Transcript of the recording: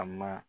A ma